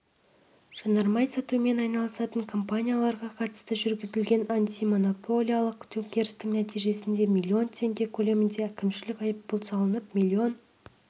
жанармай сатумен айналысатын компанияларға қатысты жүргізілген антимонополиялық тексерістің нәтижесінде миллион теңге көлемінде әкімшілік айыппұл салынып миллион